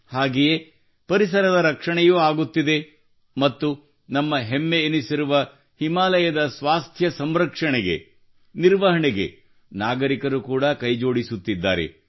ಹಾಗೆಯೇ ಪರಿಸರದ ರಕ್ಷಣೆಯೂ ಆಗುತ್ತಿದೆ ಮತ್ತು ನಮ್ಮ ಹೆಮ್ಮೆಯೆನಿಸಿರುವ ಹಿಮಾಲಯದ ಸ್ವಾಸ್ಥ್ಯ ಸಂರಕ್ಷಣೆಗೆ ನಿರ್ವಹಣೆಗೆ ನಾಗರಿಕರು ಕೂಡಾ ಕೈಜೋಡಿಸುತ್ತಿದ್ದಾರೆ